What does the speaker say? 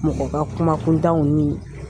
Mɔgɔ ka kuma kuntanw ni